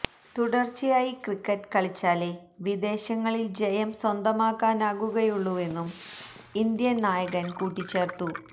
തുടര്ച്ചയായി ക്രിക്കറ്റ് കളിച്ചാലെ വിദേശങ്ങളില് ജയം സ്വന്തമാക്കാനാകുകയുള്ളൂവെന്നും ഇന്ത്യന് നായകന് കൂട്ടിച്ചേര്ത്തു